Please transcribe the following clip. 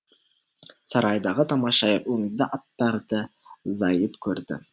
сарайдағы тамаша өңді аттарды зайыт көрді